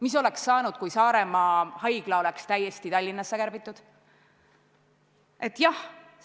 Mis oleks saanud, kui Saaremaa haigla oleks olnud täiesti ära kärbitud?